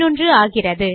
11 ஆகிறது